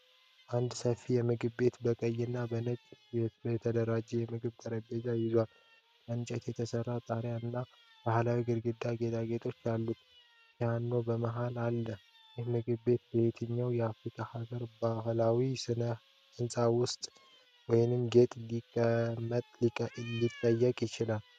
አንድ ሰፊ ምግብ ቤት በቀይና በነጭ የተደራጁ ምግብ ጠረጴዛዎችን ይዟል። ከእንጨት የተሰራ ጣሪያ እና ባህላዊ የግድግዳ ጌጣጌጦች አሉት። ፒያኖም በመሃል አለ። ይህ ምግብ ቤት በየትኛው የአፍሪካ ሀገር ባህላዊ ስነ-ህንጻ ወይም ጌጥ ሊጠቀም ይችላል?